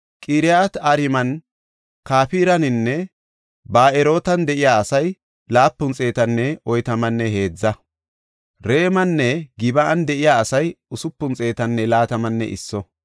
Haysafe kaallidi de7eysati di7etethaafe simmida kahineta. Iyyasu yara gidida Yadaya yarati 973;